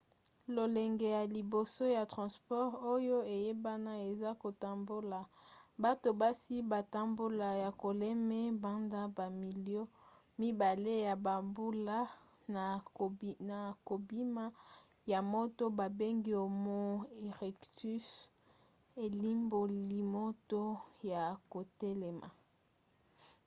lolenge ya liboso ya transport oyo eyebana eza kotambola bato basi batambola ya kotelema banda bamilio mibale ya bambula na kobima ya moto babengi homo erectus elimboli moto ya kotelema